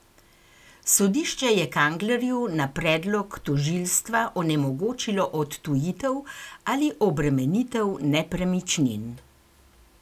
Sodišče je Kanglerju na predlog tožilstva onemogočilo odtujitev ali obremenitev nepremičnin.